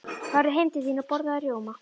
Farðu heim til þín og borðaðu rjóma.